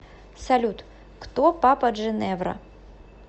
салют кто папа джиневра